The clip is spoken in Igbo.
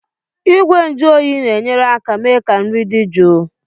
Igwe nju oyi na-enyere aka mee ka nri dị jụụ.